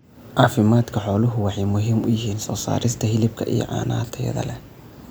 Caafimaadka xooluhu waxay muhiim u yihiin soo saarista hilibka iyo caanaha tayada leh.